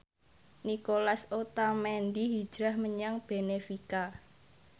Nicolas Otamendi hijrah menyang benfica